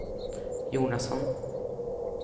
Jonasson